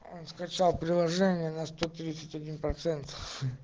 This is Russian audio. он скачал приложение на сто тридцать ноль процентов